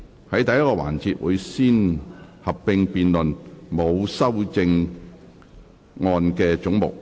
在第一個環節，會先合併辯論沒有修正案的總目。